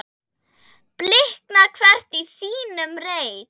blikna hvert í sínum reit